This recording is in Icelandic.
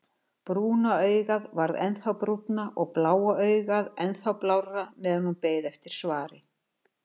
Brúna augað varð ennþá brúnna og bláa augað ennþá blárra meðan hún beið eftir svari.